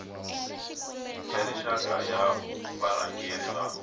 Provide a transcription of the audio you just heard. ya rixaka ya varhangeri va